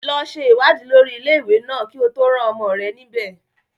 Lọ ṣe ìwádìí lórí ilé-ìwé náà kí o tó rán ọmọ rẹ níbẹ̀.